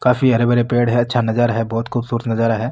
काफी हरे भरे पेड़ है अच्छा नजारा है बहुत खूबसूरत नजारा है।